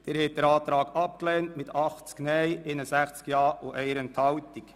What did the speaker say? Sie haben diesen Antrag abgelehnt mit 80 Nein- gegen 61 Ja-Stimmen bei 1 Enthaltung.